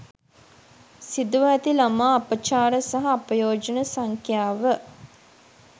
සිදුව ඇති ළමා අපචාර සහ අපයෝජන සංඛ්‍යාව